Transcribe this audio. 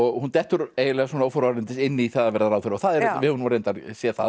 hún dettur eiginlega óforvarendis inn í það að verða ráðherra við höfum nú reyndar séð það